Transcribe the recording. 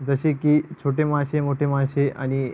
जसे की छोटे मासे मोठे मासे आणि --